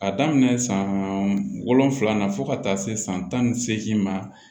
A daminɛ san wolonwula na fo ka taa se san tan ni seegin ma